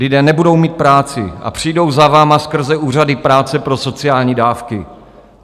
Lidé nebudou mít práci a přijdou za vámi skrze úřady práce pro sociální dávky.